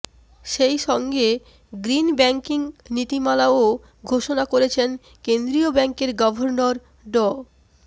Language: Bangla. সেই সঙ্গে গ্রিন ব্যাংকিং নীতিমালাও ঘোষণা করেছেন কেন্দ্রীয় ব্যাংকের গর্ভনর ড